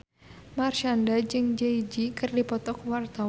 Marshanda jeung Jay Z keur dipoto ku wartawan